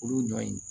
Olu ɲɔ in